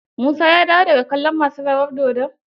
Musa ya dawo da ga kallon masu rawar dodon?